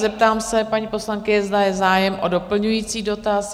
Zeptám se paní poslankyně, zda je zájem o doplňující dotaz?